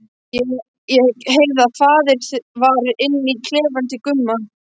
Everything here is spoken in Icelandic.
Ég heyrði að farið var inn í klefann til Gumma.